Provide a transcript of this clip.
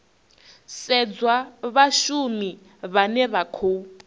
sedzwa vhashumi vhane vha khou